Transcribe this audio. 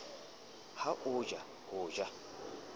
ha o ja ho ja